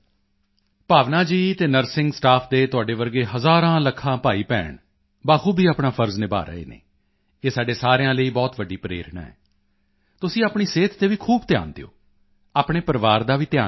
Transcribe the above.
ਭਾਵਨਾ ਜੀ ਅਤੇ nursing staff ਦੇ ਤੁਹਾਡੇ ਵਰਗੇ ਹਜ਼ਾਰਾਂਲੱਖਾਂ ਭਾਈਭੈਣ ਬਾਖੂਬੀ ਆਪਣਾ ਫ਼ਰਜ਼ ਨਿਭਾ ਰਹੇ ਹਨ ਇਹ ਸਾਡੇ ਸਾਰਿਆਂ ਲਈ ਬਹੁਤ ਵੱਡੀ ਪ੍ਰੇਰਣਾ ਹੈ ਤੁਸੀਂ ਆਪਣੀ ਸਿਹਤ ਤੇ ਵੀ ਖੂਬ ਧਿਆਨ ਦਿਓ ਆਪਣੇ ਪਰਿਵਾਰ ਦਾ ਵੀ ਧਿਆਨ ਰੱਖੋ